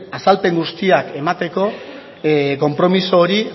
azalpen guztiak emateko konpromiso hori